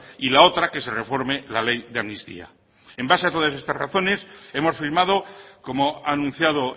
y la otra que se reforme la ley de amnistía en base a todas estas razones hemos firmado como ha anunciado